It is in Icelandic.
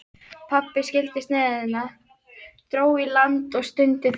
Pabbi skildi sneiðina, dró í land og stundi þungan